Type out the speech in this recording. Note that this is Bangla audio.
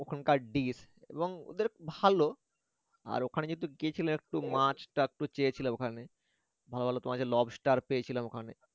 ওখানকার dish ভালো একটু মাছ চেয়েছিলাম lobster চেয়েছিলাম ওখানকার